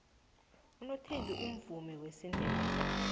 unothembi umvumi wesindebele